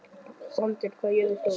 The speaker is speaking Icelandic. Sandel, hvað er jörðin stór?